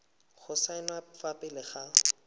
go saenwa fa pele ga